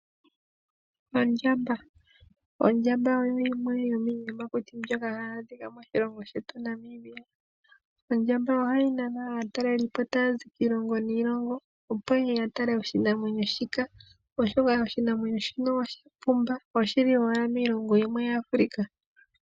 Ondjamba Ondjamba oyo yimwe yo miiyamakuti mbyoka hayi adhika moshilongo shetu Namibia. Ohayi nana aatalelipo taa zi kiilongo niilongo opo yeye ye yitale, oshoka oya pumba na oyili owala miilongo yimwe yaAfrica.